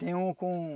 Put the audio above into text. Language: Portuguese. Tem uma com...